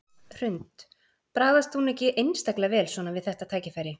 Hrund: Bragðast hún ekki einstaklega vel svona við þetta tækifæri?